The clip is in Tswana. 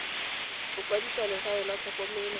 go kwadisa legae la tlhokomelo